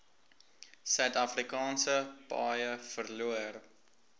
suidafrikaanse paaie verloor